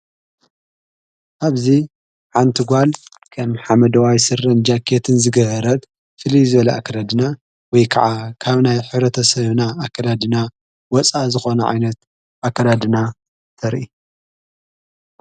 ኣብዚ ሓንቲ ጓል ከም ሓመደዋይ ሥረ ጃክትን ዝገህረት ኣከዳድና ወይ ከዓ ካብ ናይ ኅረተ ሰዮና ኣከዳድና ወፃ ዝኾነ ዓይነት ኣከራድና ተርየ።